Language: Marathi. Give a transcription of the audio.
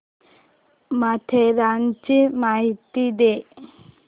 माथेरानची माहिती दे